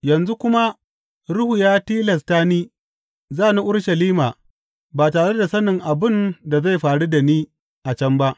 Yanzu kuma Ruhu ya tilasta ni, za ni Urushalima, ba tare da sanin abin da zai faru da ni a can ba.